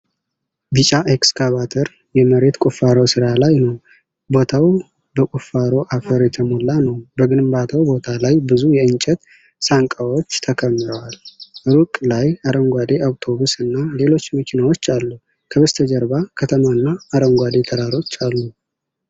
ቢጫ ኤክስካቬተር የመሬት ቁፋሮ ሥራ ላይ ነው። ቦታው በቁፋሮ አፈር የተሞላ ነው። በግንባታው ቦታ ላይ ብዙ የእንጨት ሳንቃዎች ተከምረዋል። ሩቅ ላይ አረንጓዴ አውቶቡስ እና ሌሎች መኪናዎች አሉ። ከበስተጀርባ ከተማ እና አረንጓዴ ተራሮች አሉ።